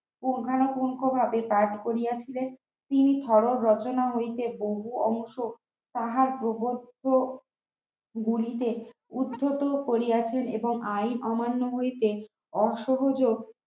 তিনি ভরত রচনা হইতে বহু অংশ তাহার প্রবর্ত গুলিকে উদঘাটও করিয়াছেন এবং আইন অমান্য হইতে অসহযোগ